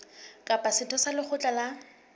kapa setho sa lekgotla la